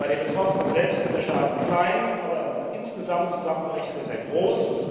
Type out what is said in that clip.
Bei den Betroffenen selbst ist der Schaden klein, aber insgesamt zusammengerechnet ist er groß.